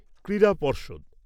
ক্রীড়া পর্ষদ